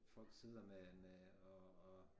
Folk sikker med med og og